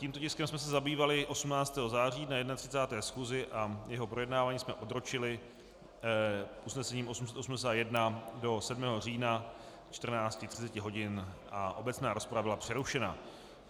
Tímto tiskem jsme se zabývali 18. září na 31. schůzi a jeho projednávání jsme odročili usnesením 881 do 7. října 14.30 hodin a obecná rozprava byla přerušena.